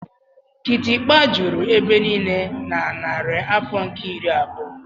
kịtịkpa juru ebe niile na narị afọ nke iri abụọ.